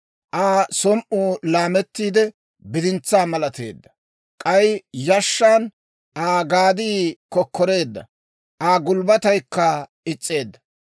Aa som"ii laamettiide, bidintsaa malateedda; k'ay yashshan Aa gadii kokkoreedda; Aa gulbbataykka is's'eedda.